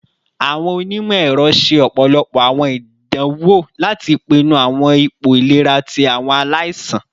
Awọn onimọ-ẹrọ ṣe ọpọlọpọ awọn idanwo lati pinnu awọn ipo ilera ti awọn alaisan